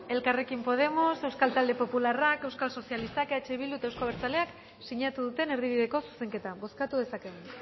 elkarrekin podemos euskal talde popularrak euskal sozialistak eh bilduk eta euzko abertzaleak sinatu duten erdibideko zuzenketa bozkatu dezakegu